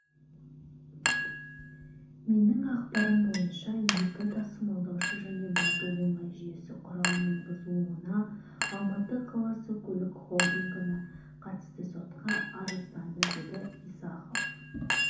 менің ақпарым бойынша екі тасымалдаушы және бату оңай жүйесі құралының бұзылуына алматы қаласы көлік холдингі на қатысты сотқа арызданды деді исахов